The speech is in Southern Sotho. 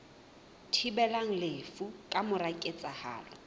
thibelang lefu ka mora ketsahalo